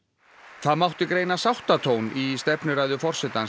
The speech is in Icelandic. það mátti greina sáttatón í stefnuræðu forsetans í